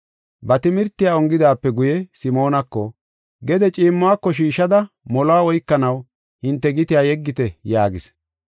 Ba timirtiya ongidaape guye Simoonako, “Gede ciimmuwako shiishada moluwa oykanaw hinte gitiya yeggite” yaagis.